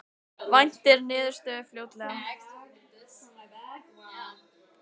Þórhildur Þorkelsdóttir: Hversu margir þeirra ætla að halda áfram að nýta sér þetta úrræði?